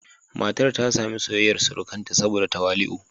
Matar ta sami soyayyar surukanta saboda tawali'u.